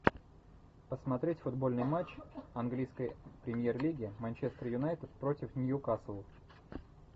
посмотреть футбольный матч английской премьер лиги манчестер юнайтед против ньюкасл